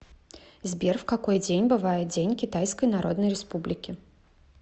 сбер в какой день бывает день китайской народной республики